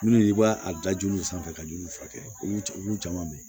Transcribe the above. Minnu i b'a a dajoli sanfɛ ka juruw furakɛ olu caman bɛ yen